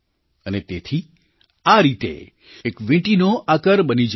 અને તેથી આ રીતે એક વીંટીનો આકાર બની જાય છે